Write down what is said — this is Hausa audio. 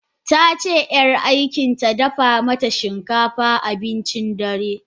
Tace yar aikinta dafa mata shinkafa abincin dare.